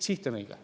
Siht on õige!